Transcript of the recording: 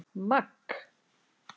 Magg